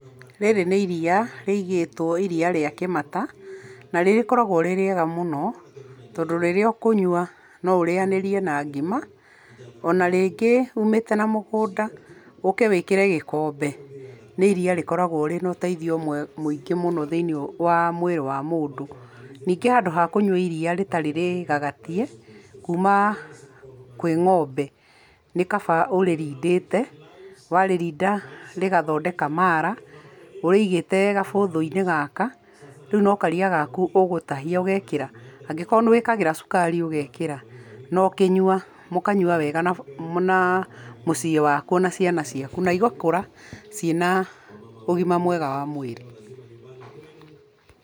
Rĩrĩ nĩ iria rĩigĩtwo iria rĩa kĩmata, na nĩ rĩkoragwo rĩrĩ ega mũno, na rĩrĩa ũkũnyua noũrĩanĩrie na ngima, ona rĩngĩ ũmĩte na mũgũnda, ũke wĩkĩre gĩkombe nĩ iria rĩkoragwo rĩna ũteithio mũingĩ mũno thĩinĩ wa mwĩrĩ wa mũndũ, ningĩ handũ hakũnyua iria rĩtarĩ rĩgagatie kuma kwĩ ng'ombe nĩ kaba ũrĩrindĩte, warĩrinda rĩgathondeka mala ũrĩigĩte gabũthũ-inĩ gaka, rĩu no karia gaku ũgũtahia ũgekĩra, angĩkorwo nĩ wĩkĩraga cukari ũgekĩra no ũkĩnyua mũkanyua wega na famĩ na mũciĩ waku na ciana ciaku na igakũra ciĩna ũgima mwega wa mwĩrĩ.